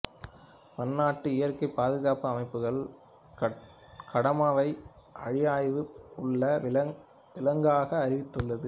பன்னாட்டு இயற்கை பாதுகாப்பு அமைப்பு கடமாவை அழிவாய்ப்பு உள்ள விலங்காக அறிவித்துள்ளது